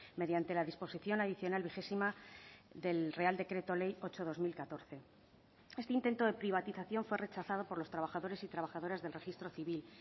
mediante la disposición adicional vigésima del real decreto ley ocho barra dos mil catorce este intento de privatización fue rechazado por los trabajadores y trabajadoras del registro civil